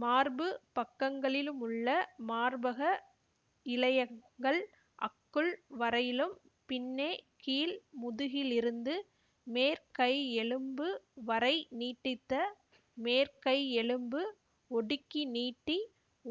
மார்புப் பக்கங்களிலுமுள்ள மார்பக இழையங்கள் அக்குள் வரையிலும் பின்னே கீழ் முதுகிலிருந்து மேற்கையெலும்பு வரை நீட்டித்த மேற்கையெலும்பு ஒடுக்கிநீட்டி